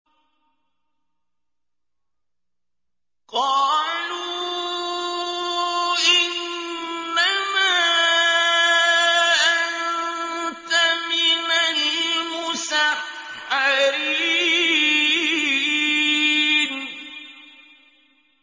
قَالُوا إِنَّمَا أَنتَ مِنَ الْمُسَحَّرِينَ